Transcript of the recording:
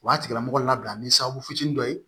O b'a tigilamɔgɔ labila ni sababu fitinin dɔ ye